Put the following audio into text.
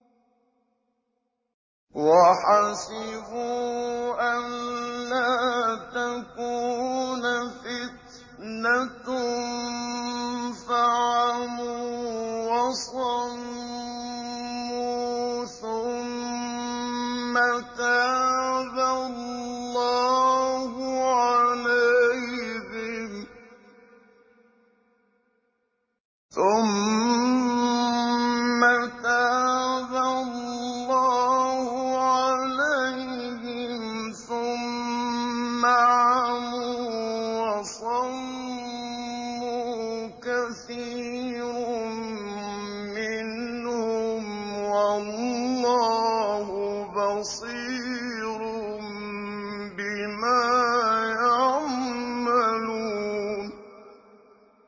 وَحَسِبُوا أَلَّا تَكُونَ فِتْنَةٌ فَعَمُوا وَصَمُّوا ثُمَّ تَابَ اللَّهُ عَلَيْهِمْ ثُمَّ عَمُوا وَصَمُّوا كَثِيرٌ مِّنْهُمْ ۚ وَاللَّهُ بَصِيرٌ بِمَا يَعْمَلُونَ